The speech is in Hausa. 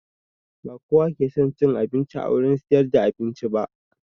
Ba kowa ke son cin abinci a wurin siyar da abinci ba